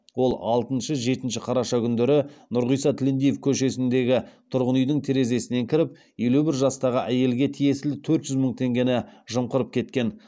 ол алтыншы жетінші қараша күндері нұрғиса тілендиев көшесіндегі тұрғын үйдің терезесінен кіріп елу бір жастағы әйелге тиесілі төрт жүз мың теңгені жымқырып кеткен